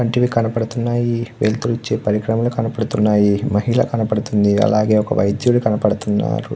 వంటివి కనపడుతున్నాయి వెలుతురూ వచ్చే పరికరములు కనపడుతున్నాయి. మహిళా కనపడుతుంది అలాగే ఒక వైద్యులు కనపడుతున్నరు.